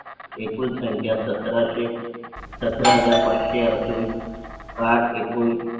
एकूण संख्या सतरा हजार पाचशे. असून कार्ड एकूण